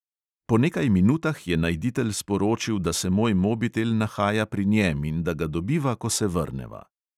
Po nekaj minutah je najditelj sporočil, da se moj mobitel nahaja pri njem in da ga dobiva, ko se vrneva.